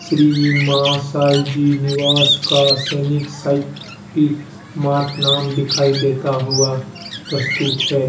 श्री मां साईं जी निवास का सैनिक साइ किल मार्ट नाम दिखाई देता हुआ प्रस्तुत है।